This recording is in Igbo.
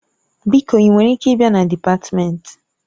Biko ị nwere ike ịbịa na dịpatmenti?